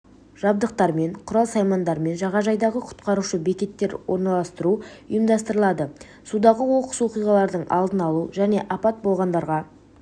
жабдықтармен құрал-саймандарымен жағажайдағы құтқарушы бекеттер орналастыру ұйымдастырылады судағы оқыс оқиғалардың алдын алу және апат болғандарға